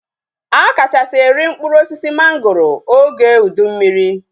A kachasị eri mkpụrụ osisi mangoro oge ụdị mmiri